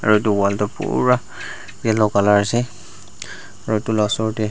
etu wall tu buraaa yellow color ase aro etu la osor de.